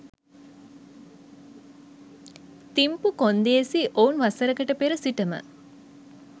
තිම්පු කොන්දේසි ඔවුන් වසරකට පෙර සිටම